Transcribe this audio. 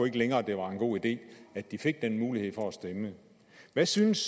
ikke længere det var en god idé at de fik den mulighed for at stemme hvad synes